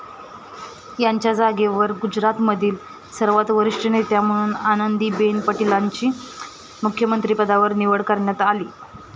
त्यांच्या जागेवर गुजरातमधील सर्वात वरिष्ठ नेत्या म्हणून आनंदीबेन पटेलांची मुख्यमंत्रीपदावर निवड करण्यात आली.